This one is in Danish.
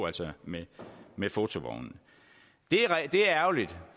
altså med med fotovognene det er ærgerligt